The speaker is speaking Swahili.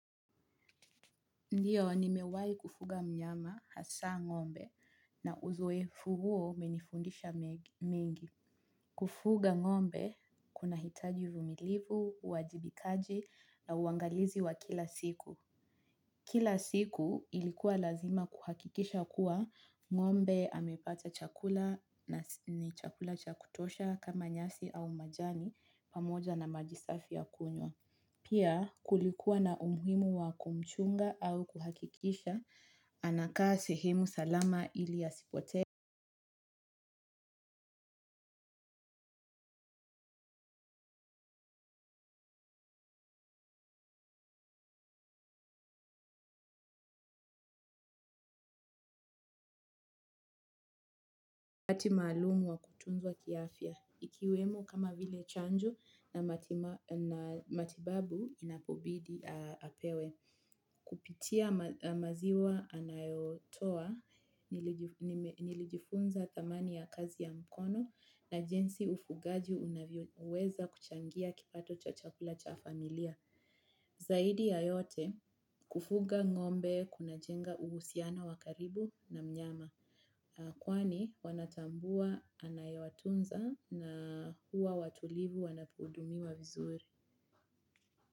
Ndiyo, nimewai kufuga mnyama hasa ngombe na uzoefu huo umenifundisha mengi. Kufuga ngombe, kuna hitaji uvumilivu, uwajibikaji na uangalizi wa kila siku. Kila siku ilikuwa lazima kuhakikisha kuwa ngombe amepata chakula na ni chakula cha kutosha kama nyasi au majani pamoja na maji safi ya kunywa. Pia kulikuwa na umuhimu wa kumchunga au kuhakikisha, anakaa sehemu salama ili asipotee. Wakati maalumu wa kutunzwa kiafya, ikiwemo kama vile chanjo na matibabu inapobidi apewe. Kupitia maziwa anayotoa, nilijifunza thamani ya kazi ya mkono, na jinsi ufugaji unavyoweza kuchangia kipato cha chakula cha familia. Zaidi ya yote kufuga ngombe kuna jenga uhusiano wa karibu na mnyama. Kwani wanatambua anayewatunza na huwa watulivu wanapohudumiwa vizuri.